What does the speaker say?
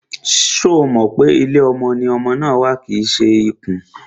Ṣo mọ̀ pé ilé ọmọ ni ọmọ ma ń wà kìí ṣe ikùn?